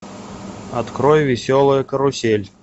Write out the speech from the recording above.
открой веселая карусель